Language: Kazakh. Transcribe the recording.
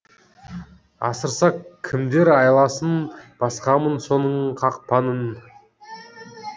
асырса кімдер айласын басқамын соның қақпанын